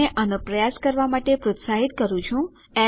આને પ્રયાસ કરો પણ જો તમને કોઈપણ મદદની આવશક્યતા હોય મને ઇમેલ કરો